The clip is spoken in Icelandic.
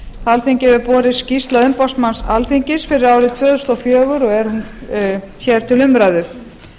alþingi hefur borist skýrsla umboðsmanns alþingis fyrir árið tvö þúsund og fjögur og er hún hér til umræðu